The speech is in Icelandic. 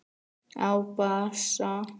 Á bassa.